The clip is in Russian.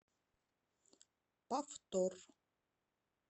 повтор